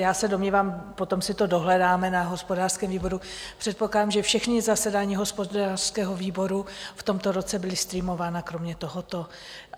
já se domnívám, potom si to dohledáme na hospodářském výboru, předpokládám, že všechna zasedání hospodářského výboru v tomto roce byla streamována kromě tohoto.